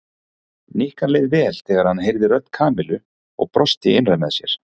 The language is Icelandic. Nikka leið vel þegar hann heyrði rödd Kamillu og brosti innra með sér.